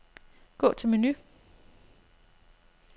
Gå til menu.